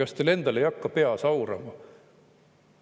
Kas teil endal ei hakka peas aurama?